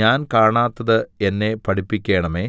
ഞാൻ കാണാത്തത് എന്നെ പഠിപ്പിക്കണമേ